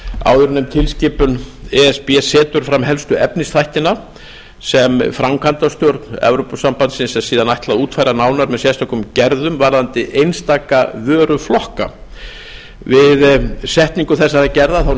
áðurnefnd tilskipun e s b setur fram helstu efnisþættina sem framkvæmdastjórn evrópusambandsins er síðan ætlað að útfæra nánar með sérstökum gerðum varðandi einstaka vöruflokka við setningu þessara gerða